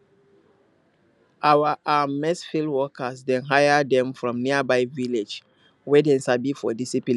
our um maize field workers dem hire them from nearby village wey dem sabi for discipline